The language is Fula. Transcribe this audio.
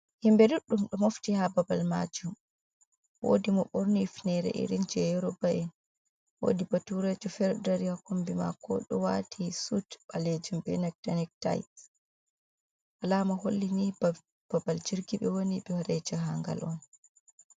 Himbee duɗɗum ɗo mofti ha babal maajuum woodi mo ɓorni hufnere irin je yorubo en, woodi baturejo fere dari ha kombi mako ɗo wati sut ɓaleejuum, benanta nektai, alama holli ni babal jirgi, ɓe wooni ɓe wadai jahangal on.